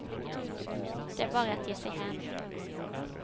Det är bara att ge sig hän.